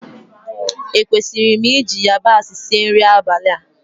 Ekwesịrị m iji yabasị sie nri abalị a?